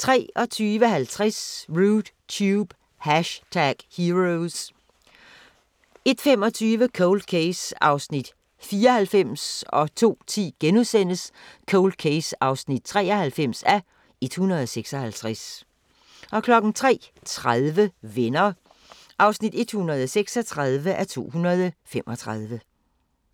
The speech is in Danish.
23:50: Rude Tube – #Heroes 01:25: Cold Case (94:156) 02:10: Cold Case (93:156)* 03:30: Venner (136:235)